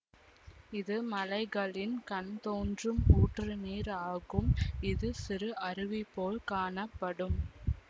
இது மலைகளின் கண் தோன்றும் ஊற்று நீர் ஆகும் இது சிறு அருவி போல காணப்படும்